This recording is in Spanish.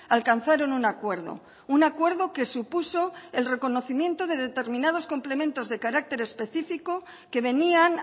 alcanzaron un acuerdo un acuerdo que supuso el reconocimiento de determinados complementos de carácter específico que venían